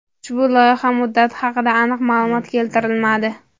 Ushbu loyiha muddati haqida aniq ma’lumot keltirilmadi.